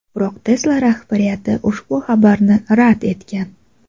Biroq Tesla rahbariyati ushbu xabarni rad etgan.